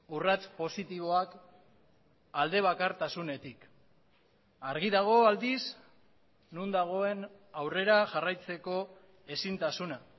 urrats positiboak alde bakartasunetik argi dago aldiz non dagoen aurrera jarraitzeko ezintasuna